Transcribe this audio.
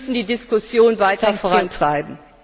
Wir müssen die Diskussion weiter vorantreiben.